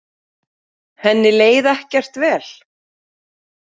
Henni leið ekkert vel.